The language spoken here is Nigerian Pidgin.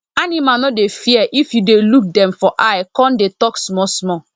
animal no dey fear if you dey look dem for eye con dey talk small small